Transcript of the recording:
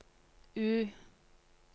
U